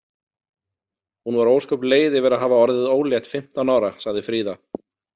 Hún var ósköp leið yfir að hafa orðið ólétt fimmtán ára, sagði Fríða.